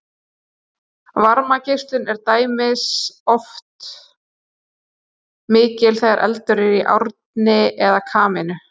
Varmageislun er til dæmis oft mikil þegar eldur er í arni eða kamínu.